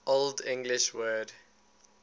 old english word